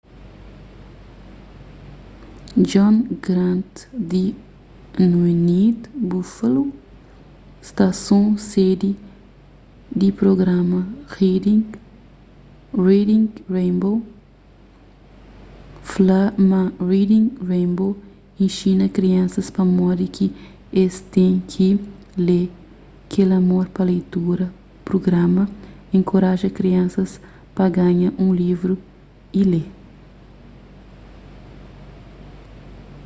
john grant di wned buffalo stason sedi di prugrama reading rainbow fla ma reading rainbow inxina kriansas pamodi ki es ten ki lê,... kel amor pa leitura - [prugrama] enkoraja kriansas pa panha un livru y lê.